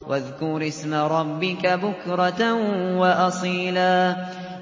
وَاذْكُرِ اسْمَ رَبِّكَ بُكْرَةً وَأَصِيلًا